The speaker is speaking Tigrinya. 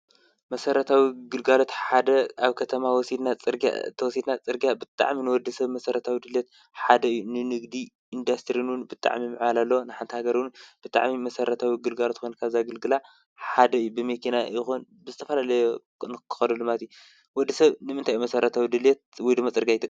መሰራታዊ ግልጋሎት ሓደ ኣብ ከተማ እንተወሲድና ፅርግያ ንወዲ ሰብ ብጣዕሚ መሰረታዊ ኣገልግሎት ሓደ እዩ፡፡ ንንግዲ ንኢንዳስትሪ እውን ብጣዕሚ ምዕባለ ኣለዎ፡፡ ንሓንቲ ሃገር እውን ብጣዕሚ መሰረታዊ ግፍልግሎት ኮይመኑ ካብ ዘገልግላ ሓደ ብመኪና ይኩን ዝተፈላለዩ ንክከደሉ ማለት እዩ፡፡ ወዲ ሰብ ንምንታይ እዩ መሰረታዊ ድሌት ወይ ድማ ፅርግያ ዝጥቀም?